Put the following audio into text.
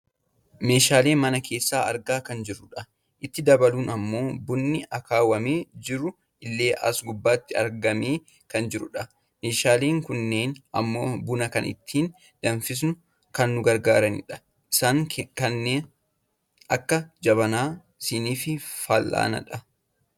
Meeshaalee mana keessaa argaa kan jirrudha . Itti dabaluun ammoo bunni akaawwamee jiru illee as gubbaatti argamee kan jirudha. Meeshaaleen kunneen ammoo buna kana ittiin danfisuuf kan nu gargaaranidha. Isaanis kanneen akka jabanaa , siniifi fallaanadha.